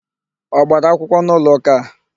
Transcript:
Ọ gbara akwụkwọ n'ụlọụka a?